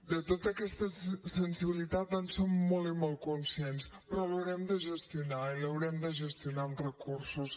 de tota aquesta sensibilitat en som molt i molt conscients però l’haurem de gestionar i l’haurem de gestionar amb recursos